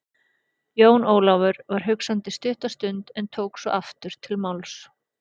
Jón Ólafur var hugsandi stutta stund en tók svo aftur til máls.